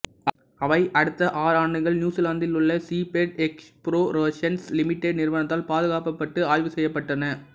அவை அடுத்த ஆறு ஆண்டுகள் நியூசிலாந்தில் உள்ள சீபேட் எக்ஸ்போரேஷன்ஸ் லிமிடெட் நிறுவனத்தால் பாதுகாக்கப்பட்டு ஆய்வு செய்யப்பட்டன